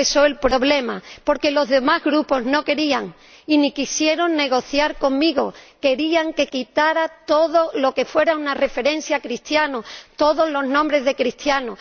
Ahí empezó el problema, porque los demás Grupos no querían y ni quisieron negociar conmigo, querían que quitara todo lo que fuera una referencia a los cristianos, todas las menciones a cristianos.